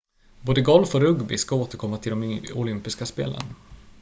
både golf och rugby ska återkomma till de olympiska spelen